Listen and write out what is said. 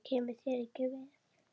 Það kemur þér ekki við.